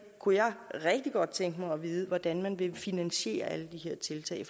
kunne jeg rigtig godt tænke mig at vide hvordan man vil finansiere alle de her tiltag